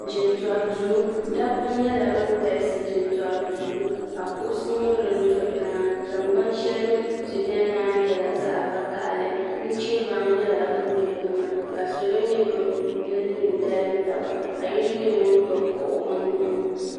jintori duu dabba nyɛla bin galisi jintori duu ka kuɣusi nyɛ din do tiŋa tingbani shɛli bi ni biɛni maa nyɛla zaɣ vakaɣli nuchɛ baŋ nyɛla din do tiŋa ka salo nyɛ bin do n dalim tiŋa ka yino nyɛ ŋun gbubi kuɣu o nuuni